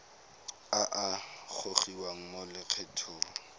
a a gogiwang mo lokgethong